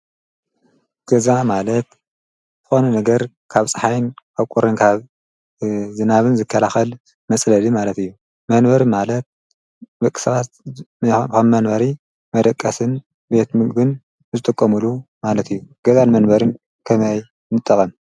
ገዛ ማለት ዝኾነ ነገር ካብ ፀሓይን ካብ ቁርን ዝናብን ዝከላኸል መፅለሊ ማለት እዬ ። መንበሪ ማለት ደቂ ሰባት ንዕኦም ከም መንበሪ መደቀስን ቤት ምግብን ዝጥቀምሉ ማለት እዮ ። ገዛን መንበሪን ከመይ ንጠቐም?